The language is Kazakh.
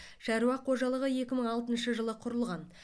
шаруа қожалығы екі мың алтыншы жылы құрылған